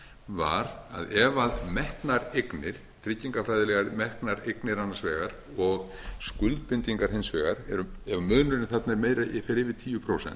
var að ef metnar eignir tryggingafræðilega metnar eignir annars vegar og skuldbindingar hins vegar ef munurinn þarna fer yfir tíu prósent